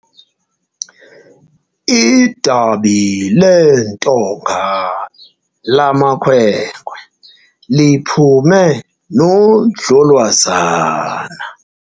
Idabi leentonga lamakhwenkwe liphume nodlolwazana.